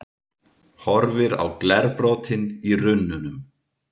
Horfir á glerbrotin í runnunum.